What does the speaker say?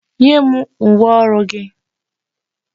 Nye m uwe ọrụ gị!